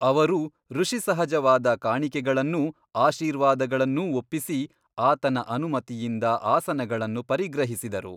ಅವರೂ ಋಷಿಸಹಜವಾದ ಕಾಣಿಕೆಗಳನ್ನೂ ಆಶೀರ್ವಾದಗಳನ್ನೂ ಒಪ್ಪಿಸಿ ಆತನ ಅನುಮತಿಯಿಂದ ಆಸನಗಳನ್ನು ಪರಿಗ್ರಹಿಸಿದರು.